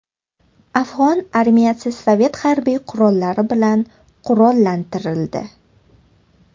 Afg‘on armiyasi Sovet harbiy qurollari bilan qurollantirildi.